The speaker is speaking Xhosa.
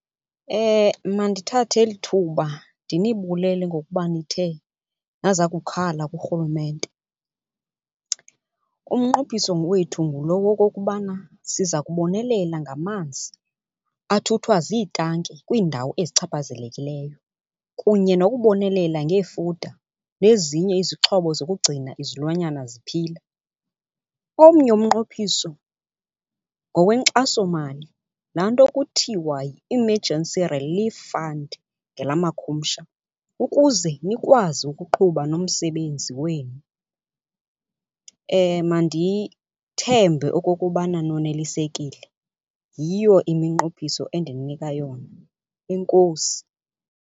Mandithathe eli thuba ndinibulele ngokuba nithe naza kukhala kuRhulumente. Umnqophiso wethu ngulo wokokubana siza kubonelela ngamanzi athuthwa ziitanki kwiindawo ezichaphazelekileyo kunye nokubonelela ngeefuda nezinye izixhobo zokugcina izilwanyana ziphila. Omnye umnqophiso ngokwenkxasomali laa nto kuthiwa yi-emergency relief fund ngelamakhumsha ukuze nikwazi ukuqhuba nomsebenzi wenu. Mandithembe okokubana nonelisekile, yiyo iminqophiso endininika yona. Enkosi.